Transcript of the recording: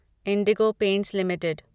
Indigo paints limited